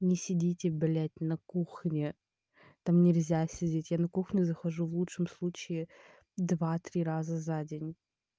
не сидите блять на кухне там нельзя сидеть я на кухню захожу в лучшем случае два-три раза за день